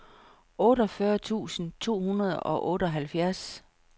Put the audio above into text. otteogfyrre tusind to hundrede og otteoghalvfjerds